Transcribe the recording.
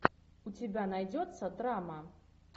у тебя найдется драма